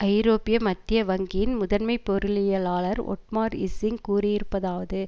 ஐரோப்பிய மத்திய வங்கியின் முதன்மை பொருளியலாளர் ஒட்மார் இஸ்ஸிங் கூறியிருப்பதாவது